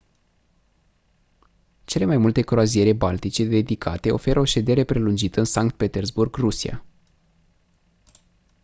cele mai multe croaziere baltice dedicate oferă o ședere prelungită în sankt petersburg rusia